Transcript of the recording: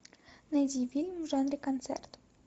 найди фильм в жанре концерт